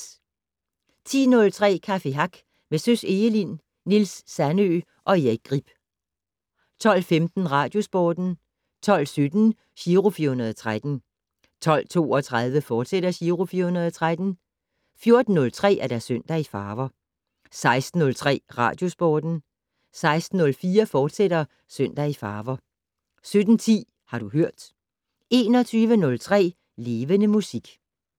10:03: Café Hack med Søs Egelind, Niels Sandøe og Erik Grip 12:15: Radiosporten 12:17: Giro 413 12:32: Giro 413, fortsat 14:03: Søndag i farver 16:03: Radiosporten 16:04: Søndag i farver, fortsat 17:10: Har du hørt 21:03: Levende Musik